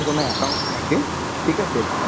কোন account থাকে ঠিক আছে